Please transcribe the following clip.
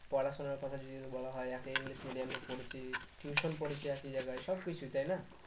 পড়াশোনার কথা যদি বলা হয় একই english medium এ পড়েছি tuition পড়েছি এক জায়গায় সবকিছু তাই না?